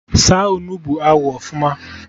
Saa Onugbu ahụ ọfụma!